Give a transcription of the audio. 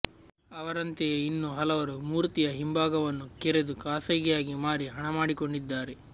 ಅವರಂತೆಯೇ ಇನ್ನೂ ಹಲವರು ಮೂರ್ತಿಯ ಹಿಂಭಾಗವನ್ನು ಕೆರೆದು ಖಾಸಗಿಯಾಗಿ ಮಾರಿ ಹಣ ಮಾಡಿಕೊಂಡಿದ್ದಾರೆ